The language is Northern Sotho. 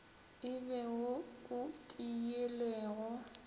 e be wo o tiilego